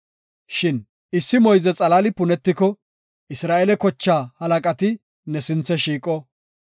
Shin issi moyze xalaali punetiko, Isra7eele kochaa halaqati ne sinthe shiiqo.